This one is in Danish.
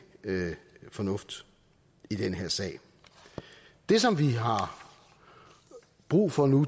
fornuft i den her sag det som vi har brug for nu